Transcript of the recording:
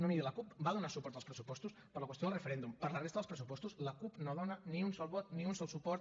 no miri la cup va donar suport als pressupostos per la qüestió del referèndum per la resta dels pressupostos la cup no dona ni un sol vot ni un sol suport